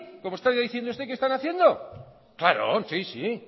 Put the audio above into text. como está diciendo usted que están haciendo sí